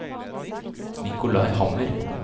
Nicolai Hammer